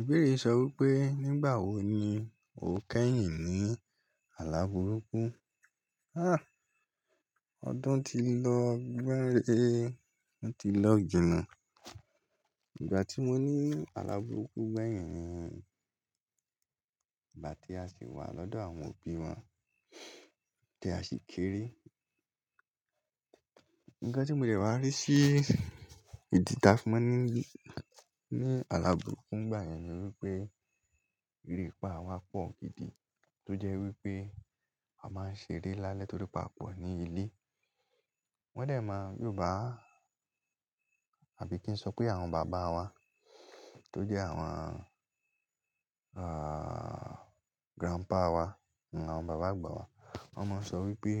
Ìbéèrè sọ wípé, nígbà wo ni o kẹ́yìn ní alàbùrúkú? Ah! Ọdún ti lọ gbẹ́rẹ́, ti lọ jina ìgbà tí mo ní alàbùrúkú gbẹ̀yìn ni ìgbà tí a ṣì wà lọ́dọ̀ àwọn òbí wa, tí a ṣì kéré. Ǹkan tí mo dẹ̀ wá rí sí ìdí ta fi máa n ní alàbùrúkú ngba yẹn ni wípé, erepa wa pọ̀ gidi, tó jẹ́ wípé a máa ń ṣeré lálẹ́ torí pa pọ̀ ní ilé. Wọ́n de máa, Yorùbá àbí kí n sọ pé àwọn bàbá wa tó jẹ́ àwọn, àh, grandpa wa, àwọn bàbá àgbà wa. Wọ́n máa ń sọ wípé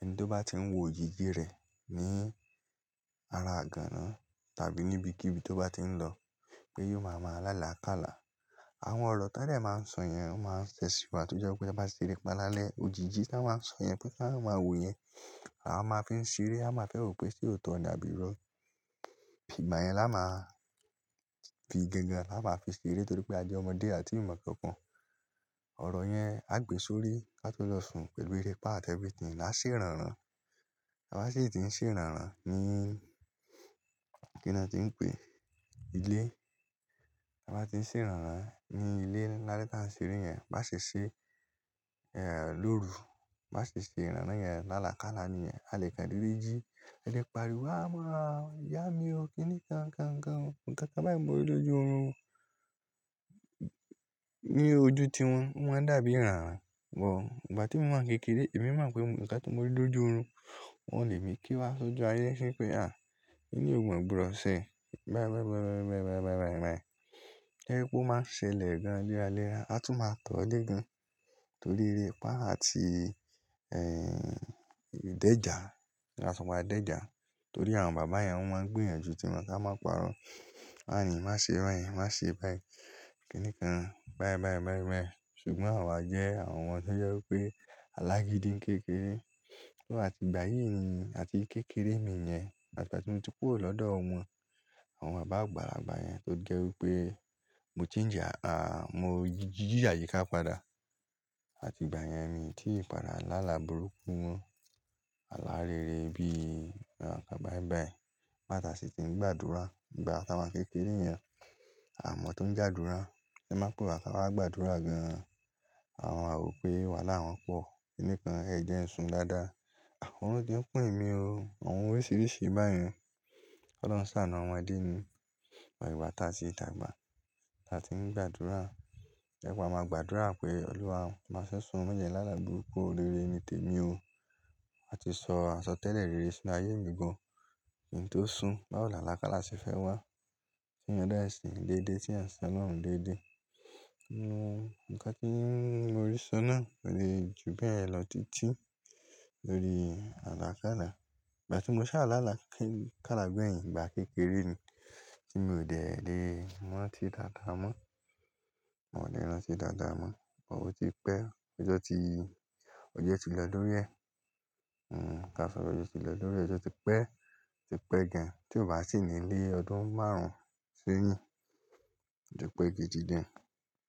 ẹni tó bá tí ń wo òjìji rẹ̀ ní ara igànná tàbí níbi kí ibi tó bá tí ń lọ pé yóò máa máa lálàkàlá. Àwọn ọ̀rọ̀ ti won de máa ń sọ yẹn, wọ́n máa ń ṣẹ̀si wa tó jẹ́ wípé taa ba ṣeré pa lálẹ́. Òjìji tí wa ń sọ yẹn pé kí a máa wo yẹn, a máa fi ń ṣeré, a máa fẹ́ rò pé sóòtọ́ ni àbí irọ́. Ìgbà yẹn la máa fi gangan, la máa fi ṣeré torí pé a jẹ́ ọmọdé àti ìmọ̀ kan kan. Ọ̀rọ̀ yẹn a gbe sórí ká tó lọ sùn pẹ̀lú erépá àti everything a ṣé ràrán. A máa ṣè tì ń ṣé ràrán ní kí ni a tí ń pè? Ilé. A máa ti ń ṣé ràrán ní ilé lálẹ́ ká ṣeré yẹn, má ṣè ṣe, eh, lóru. Bá ṣè ṣe rànràn yẹn lálàkàlá níyẹn. A lè ka dede jí, a lè pariwo "à máa, ìyá mi o, kí nìkan, kan kan o". Ǹkan ká bá ẹ̀ mi lọ́jù ọ̀run ní ojú ti wọn, o máa n dàbí rànrán. Ò, ìgbà tí mo wá ń kékeré, èmi máa ń pè ǹkan tí mo ti lọ́jù ọ̀run, wọ́n le mi kí wá sójú ayé ṣé pé "àh, èyí ò mọ̀ gbọ́dọ̀ ṣe, báyìí, báyìí, báyìí, báyìí". To je pé o má ṣe lè gan-an léra léra. A tún máa tọ̀ ọ́ le gan torí erépá àti, ẹh, ìdẹ́jà. Ta tún má déjà torí àwọn bàbá yẹn wọ́n máa ń gbìyànjú tí wọn ká máa parọ́. "Má yín, má ṣe bayen, má ṣe báyìí, kí nìkan, báyìí, báyìí, báyìí, báyìí". Ṣùgbọ́n àwa jẹ́ àwọn ọmọ tó jẹ́ wípé alágídí ń kékeré. Tó àti ìgbà yìí ni àti kékeré mi yẹn, àti ìgbà tí mo ti kúrò lọ́dọ̀ wọn, àwọn bàbá àgbà, bàbá yẹn tó jẹ́ wípé mo ti ń jà, àh, mo ò jíjà yíká padà. Àti ìgbà yẹn mi tí padà lálàbùrúkú mo, alárere bí, àwọn kan báyìí báyìí. Nígbà tà sì ti ń gbàdúrà. Ìgbà ta wa kékeré yẹn, àmọ́ tó ń j'àdúrà. Ti won ba pé wa ká wá gbàdúrà gan-an. À máa wo pé, wáhala won pọ̀. Kí nìkan, ẹ jẹ kí n sùn dáadáa. Oorun ti ń kún èmi o. Àwọn oríṣiríṣi báyen. Ọlọ́run ṣàánú àwọn ẹbí mi. Ati'gba tá tì dàgbà, tá tì ń gbàdúrà. To je pé a máa gbàdúrà pé Ọluwa afe sun o, máa je kí n lálàbùrúkú, oríire ni tèmi o. A ti sọ àsọtẹ́lẹ̀ rere sí ayé mi gan-an. Kí nntó sùn, báwo lálàkàlá ṣe fẹ́ wá? Ti ẹ̀yàn de n sin déde tí ẹ̀yàn n sin ọlọ́run déde? N o, ǹkan tí mo rí so náà kò le jù bẹ́ẹ̀ lọ títí lórí alákàlá. Ìgbà tí mo sá láàlákála gbeyin, ìgbà kékeré ni tí mòdẹ̀ lé rántí dàda mọ́, mòdẹ̀ rán sí dàda mọ́. Wọ́n ti pẹ́, ọjọ́ ti, ọjọ́ ti lọ lórí ẹ̀. N o, ká sọ ọjọ́ ti lọ lórí ẹ̀, ọjọ́ ti pẹ́, ti pẹ́ gan-an tí ò bá sì nílé ọdún márùn-ún sẹ́yìn. Ó ti pẹ́ gidi gan-an.